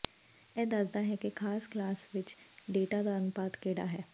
ਇਹ ਦੱਸਦਾ ਹੈ ਕਿ ਖਾਸ ਕਲਾਸ ਵਿੱਚ ਡੇਟਾ ਦਾ ਅਨੁਪਾਤ ਕਿਹੜਾ ਹੈ